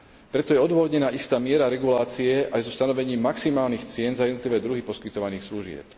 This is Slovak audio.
Preto je odôvodnená istá miera regulácie aj so stanovením maximálnych cien za jednotlivé druhy poskytovaných služieb.